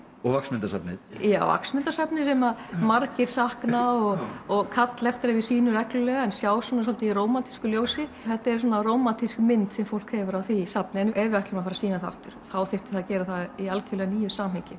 og Vaxmyndasafnið já Vaxmyndasafnið sem að margir sakna og og kalla eftir að við sýnum reglulega en sjá svolítið í rómantísku ljósi þetta er rómantísk mynd sem fólk hefur af því safni ef við ætlum að sýna það aftur þyrfti að gera það í algjörlega nýju samhengi